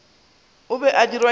o be a dirwa ke